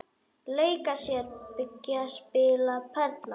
Leika sér- byggja- spila- perla